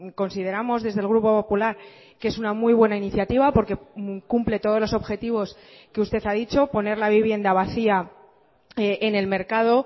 consideramos desde el grupo popular que es una muy buena iniciativa porque cumple todos los objetivos que usted ha dicho poner la vivienda vacía en el mercado